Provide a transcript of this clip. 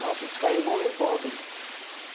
Nossa, descarregou um revolver, meu.